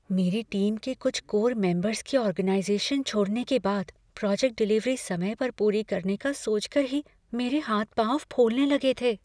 मेरी टीम के कुछ कोर मेंबर्स के ऑर्गेनाइज़ेशन छोड़ने के बाद प्रोजेक्ट डिलीवरी समय पर पूरी करने का सोचकर ही मेरे हाथ पाँव फूलने लगे थे।